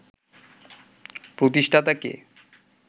প্রতিষ্ঠাতা কে